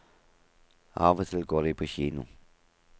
Av og til går de på kino.